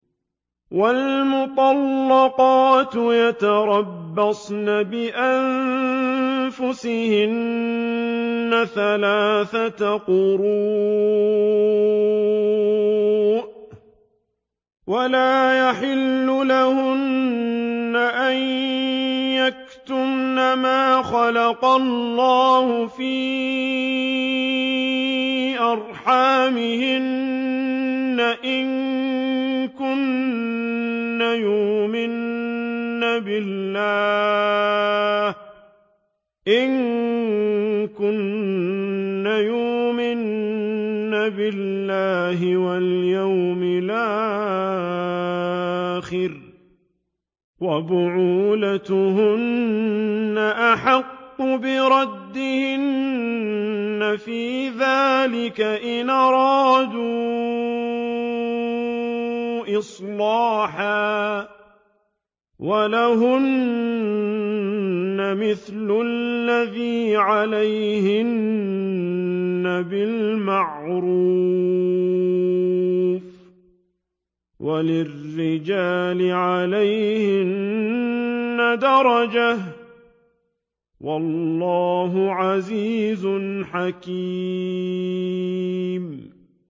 وَالْمُطَلَّقَاتُ يَتَرَبَّصْنَ بِأَنفُسِهِنَّ ثَلَاثَةَ قُرُوءٍ ۚ وَلَا يَحِلُّ لَهُنَّ أَن يَكْتُمْنَ مَا خَلَقَ اللَّهُ فِي أَرْحَامِهِنَّ إِن كُنَّ يُؤْمِنَّ بِاللَّهِ وَالْيَوْمِ الْآخِرِ ۚ وَبُعُولَتُهُنَّ أَحَقُّ بِرَدِّهِنَّ فِي ذَٰلِكَ إِنْ أَرَادُوا إِصْلَاحًا ۚ وَلَهُنَّ مِثْلُ الَّذِي عَلَيْهِنَّ بِالْمَعْرُوفِ ۚ وَلِلرِّجَالِ عَلَيْهِنَّ دَرَجَةٌ ۗ وَاللَّهُ عَزِيزٌ حَكِيمٌ